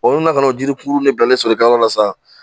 Olu nana ka n'o jiri kuru min bilalen sɔrɔlikɛyɔrɔ la sa